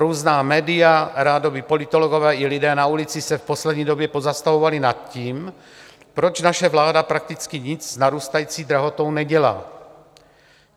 Různá média, rádoby politologové i lidé na ulici se v poslední době pozastavovali nad tím, proč naše vláda prakticky nic s narůstající drahotou nedělá.